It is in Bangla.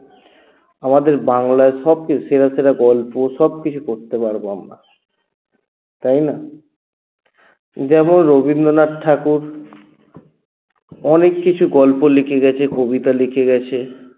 আমাদের বাংলায় সবচেয়ে সেরা সেরা গল্প সবকিছু পড়তে পারব আমরা তাই না যেমন রবিন্দ্রনাথ ঠাকুর অনেককিছু গল্প লিখে গেছে কবিতা লিখে গেছে